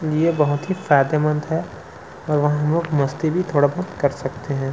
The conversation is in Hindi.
ये बहुत ही फायदेमंद है और हम लोग मस्ती भी थोड़ा बहुत कर सकते है।